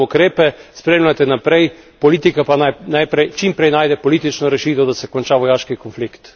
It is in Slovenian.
Zato pozdravljam ukrepe, spremljajte naprej, politika pa naj čim prej najde političo rešitev, da se konča vojaški konflikt.